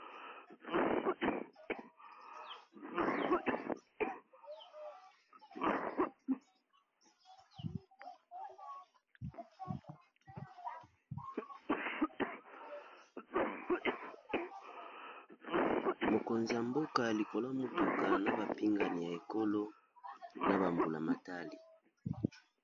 Mokonzi ya mboka likola ya motuka na ba pingani ya ekolo na ba mbula matari.